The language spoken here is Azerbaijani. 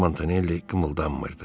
Montanelli qımıldanmırdı.